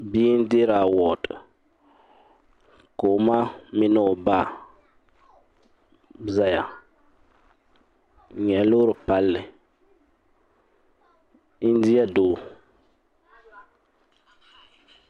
Bia n-deeri awadi ka o ma ni o ba zaya n-nyɛ loori palli India doo.